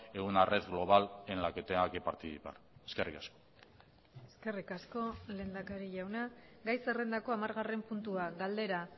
en una red global en la que tenga que participar eskerrik asko eskerrik asko lehendakari jauna gai zerrendako hamargarren puntua galdera